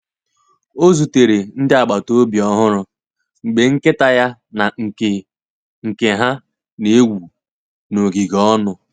Ọ zutere ndị agbata obi ọhụrụ mgbe nkịta ya na nke nke ha na-egwu n’ogige ọnụ.